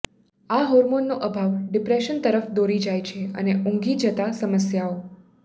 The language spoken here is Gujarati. આ હોર્મોનનો અભાવ ડિપ્રેશન તરફ દોરી જાય છે અને ઊંઘી જતા સમસ્યાઓ